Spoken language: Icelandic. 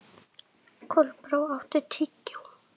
Kolbrá, áttu tyggjó?